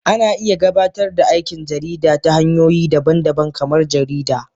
Ana iya gabatar da aikin jarida ta hanyoyi daban-daban kamar jarida